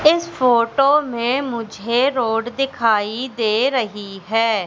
इस फोटो में मुझे रोड दिखाई दे रही है।